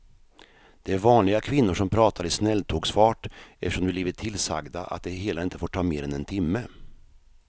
Det är vanliga kvinnor som pratar i snälltågsfart eftersom de blivit tillsagda att det hela inte får ta mer än en timme.